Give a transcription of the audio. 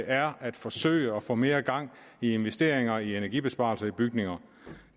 er at forsøge at få mere gang i investeringer i energibesparelser i bygninger